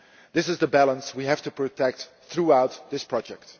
This is the balance we have to protect throughout this project.